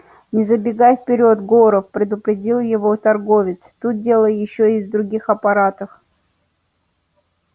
не забегай вперёд горов предупредил его торговец тут дело ещё и в других аппаратах